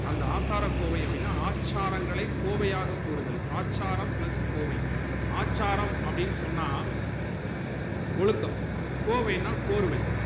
அந்த ஆசாரக்கோவை அப்புடினா ஆச்சாரங்களை கோவையாக கூறுதல் ஆச்சாரம் plus கோவை ஆச்சாரம் அப்டின்னு சொன்னா ஒழுக்கம் கோவைனா கோர்வை